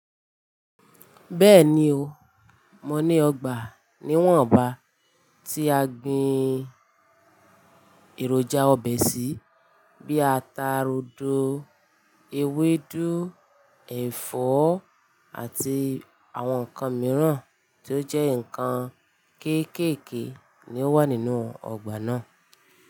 Bẹ́ẹ̀ni o, mo ní ọgbà ní Wọ́n ń ba tí a gbin èròjà ọbẹ̀ sí bí i ata rodo, ewédú, ẹ̀fọ́ àti àwọn nǹkan mìíràn tí ó jẹ́ nǹkan kéékèèké ni ó wà nínú ọgbà náà.